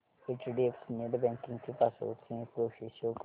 HDFC net banking ची password change process show कर